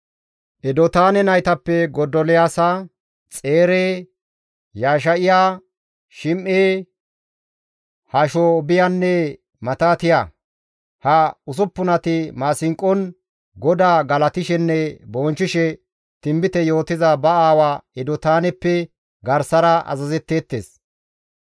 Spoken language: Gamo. Edotaane naytappe Godoliyaasa, Xeere, Yesha7iya, Shim7e, Hashaabiyanne Matitiya; ha usuppunati maasinqon GODAA galatishenne bonchchishe tinbite yootiza ba aawa Edotaaneppe garsara azazetteettes.